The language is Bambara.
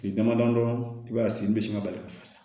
Kile damadɔ i b'a ye sen bɛ se ka bali ka fasa